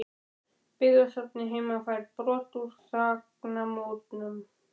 Byggðasafnið heima fær brot úr þagnarmúrnum